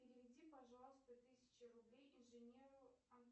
переведи пожалуйста тысячу рублей инженеру